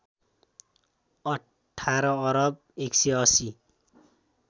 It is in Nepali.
१८ अरब १८०